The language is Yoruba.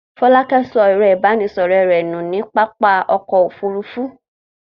Fọlákẹ́ sọ ẹ̀rọ-ìbánisọ̀rọ̀ rẹ̀ nù ní pápá ọkọ̀-òfurufú?